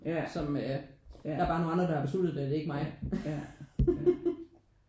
Som øh der bare er nogen andre der har besluttet det og ikke mig